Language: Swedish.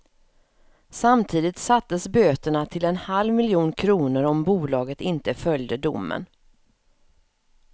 Samtidigt sattes böterna till en halv miljon kronor om bolaget inte följde domen.